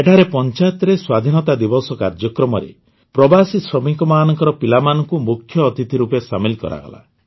ଏଠାରେ ପଂଚାୟତରେ ସ୍ୱାଧୀନତା ଦିବସ କାର୍ଯ୍ୟକ୍ରମରେ ପ୍ରବାସୀ ଶ୍ରମିକମାନଙ୍କ ପିଲାମାନଙ୍କୁ ମୁଖ୍ୟ ଅତିଥି ରୂପେ ସାମିଲ କରାଗଲା